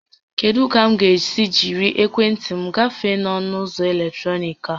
Kedụ ka m ga-esi jírí ekwentị m gafee ọnụ ụzọ eletrọnịkị a?